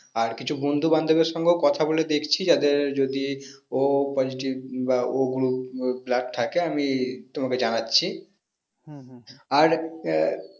আর কিছু বন্ধু বান্ধব এর সঙ্গেও কথা বলে দেখছি যাদের যদি o positive বা o group blood থাকে আমি তোমাকে জানাচ্ছি আর আহ